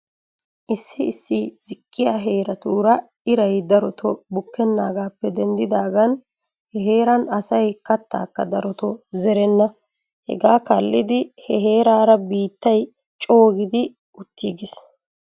Issi issi ziqqiyaa heeratuura iray daroto bukkenaagaappe denddidaagan he heeran asay kataakka daroto zerenna. Hegaa kaallidi he heeraara biittay coo gidi utiigis.